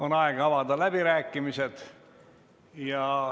On aeg avada läbirääkimised.